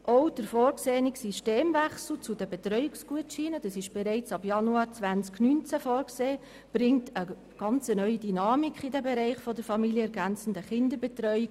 Drittens bringt der ab 2019 vorgesehene Systemwechsel zu den Betreuungsgutscheinen eine ganz neue Dynamik in den Bereich der familienergänzenden Kinderbetreuung.